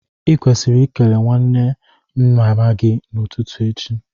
I kwesiri ikele nwanne mama gi n'ututu echi